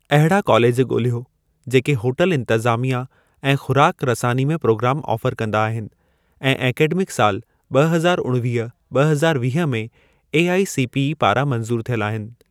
अहिड़ा कॉलेज ॻोल्हियो जेके होटल इंतज़ामिया ऐं ख़ुराक रसानी में प्रोग्राम ऑफ़र कंदा आहिनि ऐं ऐकडेमिक साल ॿ हज़ार उणिवीह ॿ हज़ार वीह में एआईसीपी ई पारां मंज़ूर थियल हुजनि।